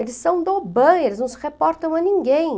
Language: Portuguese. Eles são do Oban , eles não se reportam a ninguém.